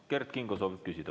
Kert Kingo soovib küsida.